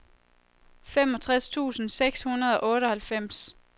femogtres tusind seks hundrede og otteoghalvfems